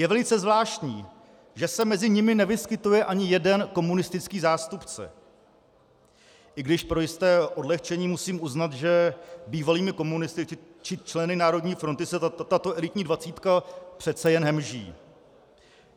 Je velice zvláštní, že se mezi nimi nevyskytuje ani jeden komunistický zástupce, i když pro jisté odlehčení musím uznat, že bývalými komunisty či členy Národní fronty se tato elitní dvacítka přece jen hemží.